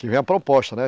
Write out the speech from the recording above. Que vem a proposta, né?